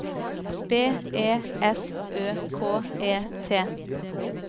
B E S Ø K E T